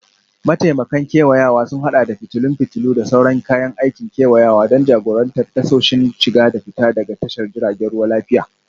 Mataimakan kewayawa sun haɗa da fitilun fitilu, da sauran kayan aikin kewayawa don jagorantar tasoshin shiga da fita daga tashar jiragen ruwa lafiya.